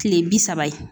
Kile bi saba ye